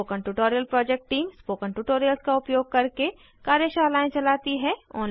spoken tutorial project team spoken tutorials का उपयोग करके कार्यशालाएं चलाती है